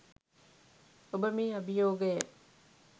ඔබ මේ අභියෝගය